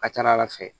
A ka ca ala fɛ